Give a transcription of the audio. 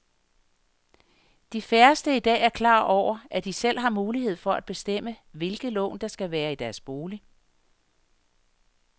De færreste er i dag klar over, at de selv har mulighed for at bestemme, hvilke lån der skal være i deres bolig.